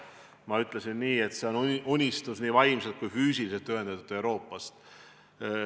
Ma ütlesin, et see on unistus nii vaimselt kui ka füüsiliselt ühendatud Euroopast.